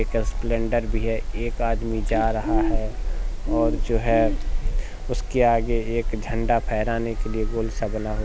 एक स्प्लेंडर भी है एक आदमी जा रहा है और जो है उसके आगे एक झंडा फहराने के लिए गोल सा बना हु--